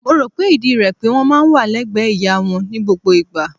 Mo rò pé ìdí rẹ̀ pé wọ́n máa ń wà légbẹ̀ẹ́ ìyá wọn ní gbogbo ìgbà.